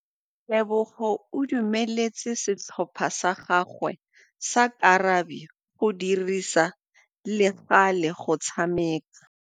Tebogô o dumeletse setlhopha sa gagwe sa rakabi go dirisa le galê go tshameka.